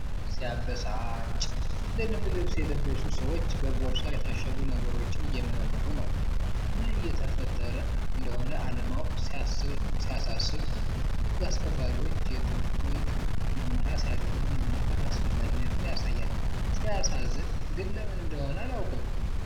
እረ ሲያበሳጭ! የደንብ ልብስ የለበሱ ሰዎች በቦርሳ የታሸጉ ነገሮችን እየመረምሩ ነው። ምን እየተፈጠረ እንደሆነ አለማወቁ ሲያሳስብ! ህግ አስከባሪዎች የጥብቅ ምርመራ ሲያደርጉ መመልከት አስፈላጊነቱን ያሳያል! ሲያሳዝን ግን ለምን እንደሆነ አላውቅም።